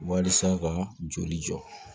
Walisa ka joli jɔ